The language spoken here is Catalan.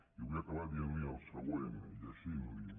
i vull acabar dient·li el següent llegint·li·ho